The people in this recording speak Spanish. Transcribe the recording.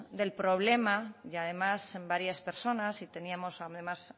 del problema y además en varias personas y teníamos además